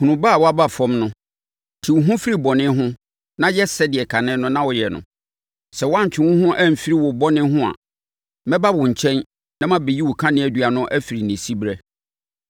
Hunu ba a woaba fam no. Te wo ho firi bɔne ho na yɛ sɛdeɛ kane no na woyɛ no. Sɛ woantwe wo ho amfiri wo bɔne ho a, mɛba wo nkyɛn na mabɛyi wo kaneadua no afiri ne siberɛ.